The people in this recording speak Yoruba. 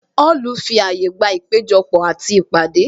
Họlu fi àyè gba ìpéjọ pò àti ìpàdé